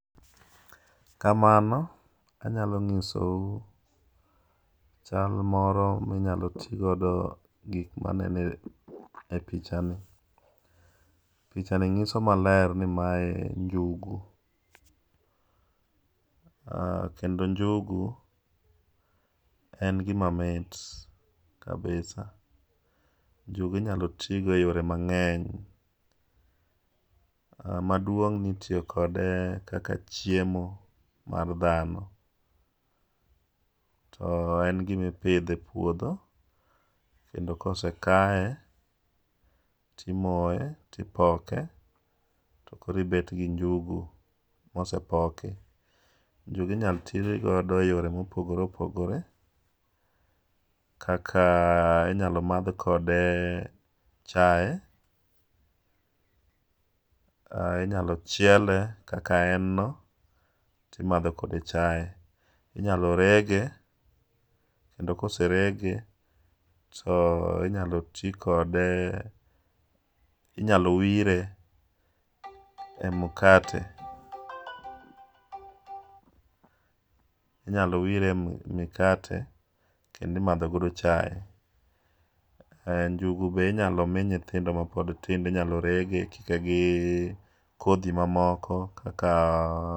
Kamano anyalo nyisou chal moro ma inyalo ti godo gik ma aneno e pichani. Pichani nyiso maler ni maenjugu kendo njugu en gima mit kabisa, Njugu inyalo tigo e yore mang'eny. Maduong' ni itiyo kode kaka chiemo mar dhano. En gima ipidho e puodho, kendo ka osekaye to imoye to ipoke to koro ibet gi njugu mosepoki. Njugu inyalo tigodo eyore mopogore opogore kaka inyalo madh kode chae, inyalo chiele kaka en no to imadho kode chae. Inyalo rege kendo ka oserege to inyalo ti inyalo wire e mkate, inyalo wire e mkate kendo imadho godo chae. Njugu be inyalo mi nyithindo mapod tindo inyalo rege ikike gi kodhi mamoko